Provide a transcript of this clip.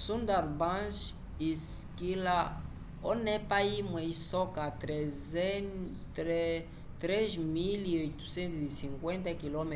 sundarbans isikĩla onepa imwe isoka 3.850 km²